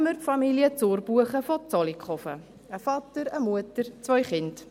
Nehmen wir Familie Zurbuchen aus Zollikofen, ein Vater, eine Mutter, zwei Kinder.